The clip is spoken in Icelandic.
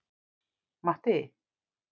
Matti